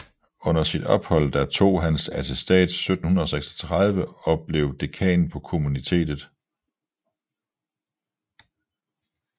Under sit ophold der tog han attestats 1736 og blev dekan på Kommunitetet